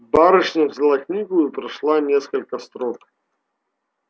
барышня взяла книгу и прочла несколько строк